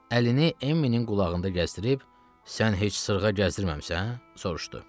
Əlini Emmilin qulağında gəzdirib, sən heç sırğa gəzdirməmisən? soruşdu.